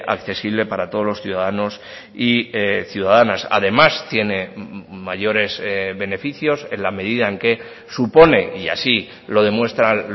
accesible para todos los ciudadanos y ciudadanas además tiene mayores beneficios en la medida en que supone y así lo demuestran